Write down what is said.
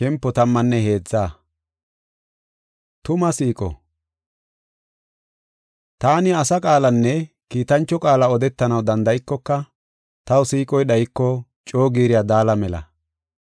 Taani asa qaalanne kiitancho qaala odetanaw danda7ikoka, taw siiqoy dhayiko, coo giiriya daala mela.